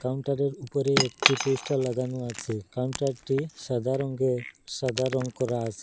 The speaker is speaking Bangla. কাউন্টারের উপরে একটি পোস্টার লাগানো আছে কাউন্টারটি সাদা রঙ্গের সাদা রং করা আসে।